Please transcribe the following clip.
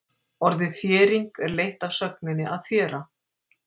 Orðið þéring er leitt af sögninni að þéra.